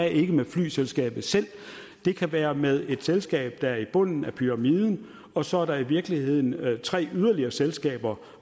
ikke med flyselskabet selv det kan være med et selskab der er i bunden af pyramiden og så er der i virkeligheden tre yderligere selskaber